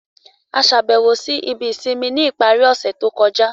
A ṣàbẹ̀wò si àwọn ibi ìsinmi ni ipari ọ̀ṣẹ̀ to kọja.